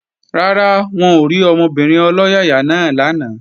Rárá, wọn ò rí ọmọbìnrin ọlọ́yàyà náà lánàá